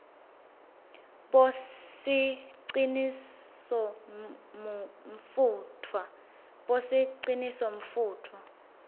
bosicinisomfutfwa